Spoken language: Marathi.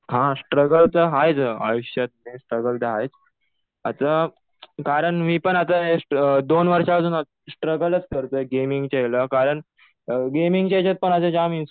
हा स्ट्रगल तर आहेच आयुष्यात. स्ट्रगल तर आहेच. आता कारण मी पण आता दोन वर्षांपासून स्ट्रगलच करतोय गेमिंगच्या ह्याला. कारण गेमिंगच्या ह्याच्यात कुणाचं जाम